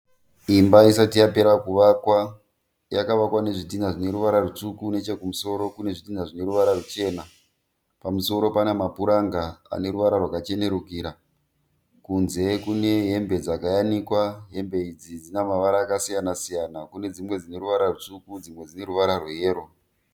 Imba isati yapera kuvakwa. Yakavakwa nezvidhinha zvine ruvara rutsvuku, nechokumusoro kune zvidhinha zvine ruvara ruchena. Pamusoro pane mapuranga ane ruvara rwakachenerukira. Kunze kune hembe dzakayanikwa. Hembe idzi dzine mavara akasiyanasiyana. Kune dzimwe dzine ruvara rutsvuku dzimwe dzine ruvara rweyero.